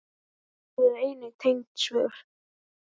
Skoðið einnig tengd svör